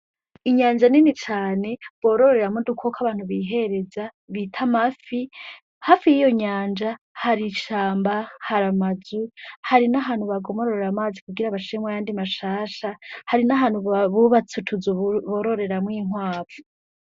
Inyanja nini cane borororera mu di ukoko abantu bihereza bita mafi hafi y'iyo nyanja hari icamba hari amaju hari n'ahantu bagomororera amazi kugira abashemwa yandi mashasha hari n'ahantu bubatsutuza bororeramwo inkwavu.